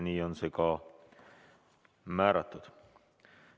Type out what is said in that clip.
Nii on see ka määratud.